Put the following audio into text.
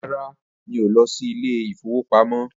Rara, mi ò lọ sí Ilé-ìfowópamó